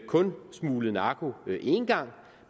kun har smuglet narko én gang